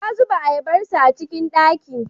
Ya zuba ayabarsa a cikin ɗaki.